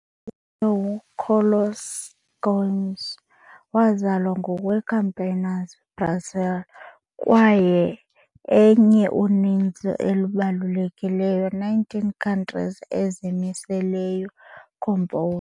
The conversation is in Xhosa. Antônio Carlos Gomes wazalwa ngowe-Campinas, Brazil, kwaye enye uninzi elibalulekileyo nineteenth century ezimiseleyo composers.